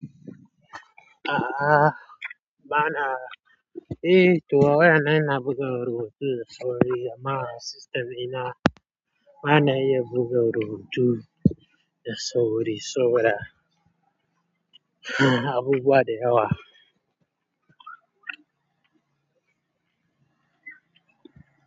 A'a, ba na. Eh, to a waya na ina buga rubutu da sauri amma a system ina ba na iya buga rubutu da sauri, suna abubuwa da yawa.